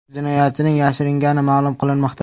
Jinoyatchining yashiringani ma’lum qilinmoqda.